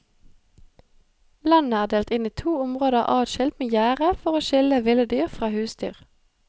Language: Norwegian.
Landet er delt inn i to områder adskilt med gjerde for å skille ville dyr fra husdyr.